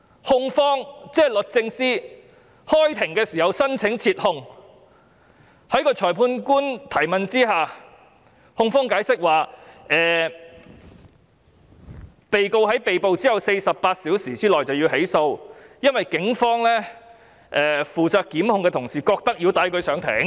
控方即律政司在開庭時申請撤控，在裁判官提問下，控方解釋被告在被捕後48小時內便要被起訴，因為警方負責檢控的同事認為要帶他上庭。